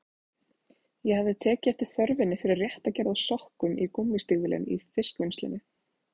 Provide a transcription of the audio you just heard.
Ég hafði tekið eftir þörfinni fyrir rétta gerð af sokkum í gúmmístígvélin í fiskvinnslunni.